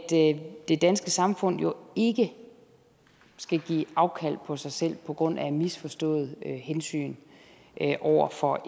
det danske samfund jo ikke skal give afkald på sig selv på grund af misforstået hensyn over for